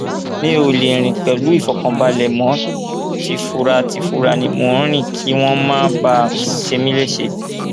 mi ò lè rìn pẹlú ìfọkànbalẹ mọ tìfuratìfura ni mò ń rìn kí wọn má bàa ṣe mí léṣe